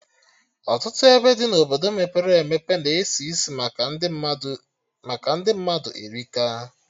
Ọtụtụ ebe dị na Obodo mepere emepe na-esi isi maka ndị mmadụ erika